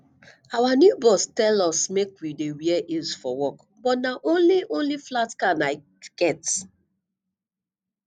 our new boss tell us make we dey wear heels for work but na only only flat can i get